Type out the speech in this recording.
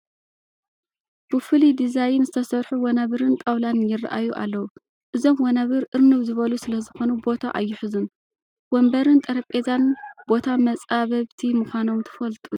ብፍሉይ ዲዛይን ዝተሰርሑ ወናብርን ጣውላን ይርአዩ ኣለዉ፡፡ እዞም ወናብር እርንብ ዝበሉ ስለዝኾኑ ቦታ ኣይሕዙን፡፡ ወንበርን ጠረጴዛን ቦታ መፃበብቲ ምኳኖም ትፈልጡ ዶ?